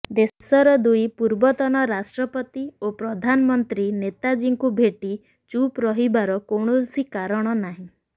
ଦେଶର ଦୁଇ ପୂର୍ବତନ ରାଷ୍ଟ୍ରପତି ଓ ପ୍ରଧାନମନ୍ତ୍ରୀ ନେତାଜୀଙ୍କୁ ଭେଟି ଚୁପ୍ ରହିବାର କୌଣସି କାରଣ ନାହିଁ